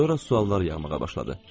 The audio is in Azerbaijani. Sonra suallar yağmağa başladı.